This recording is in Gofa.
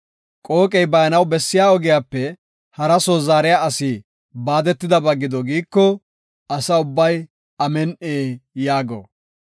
“Qooqey baanaw bessiya ogiyape hara soo zaariya asi baadetidaysa gido” giiko, Asa ubbay, “Amin7i” yaago.